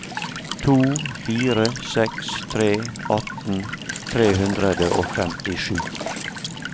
to fire seks tre atten tre hundre og femtisju